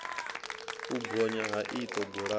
u bonya ha iṱo bulani